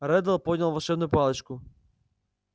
реддл поднял волшебную палочку